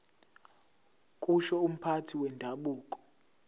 kusho umphathi wendabuko